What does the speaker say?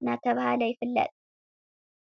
እናተባህለይፍለጥ።